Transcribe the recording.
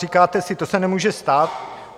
Říkáte si, to se nemůže stát.